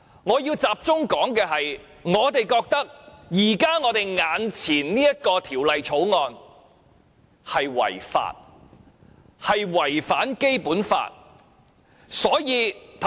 我要集中討論的是，眼前這項《條例草案》違法及違反《基本法》。